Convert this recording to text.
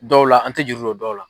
Dɔw la an tɛ juru do dɔw la.